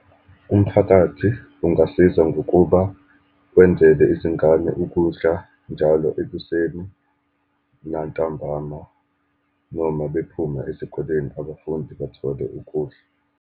Umphakathi ungasiza, ngokuba wenzele izingane ukudla njalo ekuseni, nantambama, noma bephuma ezikoleni abafundi bathole ukudla.